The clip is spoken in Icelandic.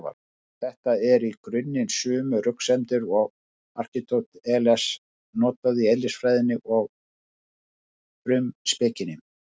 Þetta eru í grunninn sömu röksemdir og Aristóteles notaði í Eðlisfræðinni og Frumspekinni.